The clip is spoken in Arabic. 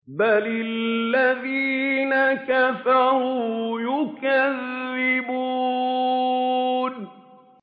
بَلِ الَّذِينَ كَفَرُوا يُكَذِّبُونَ